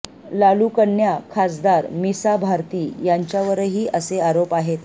लालू कन्या खासदार मिसा भारती यांच्यावरही असे आरोप आहेत